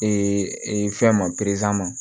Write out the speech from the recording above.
fɛn ma